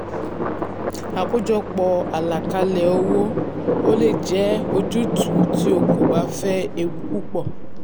àkójọpọ̀ àlàkalẹ̀ owó: o le è jẹ́ um ojútùú tí o kò bá fẹ́ ewu púpọ̀.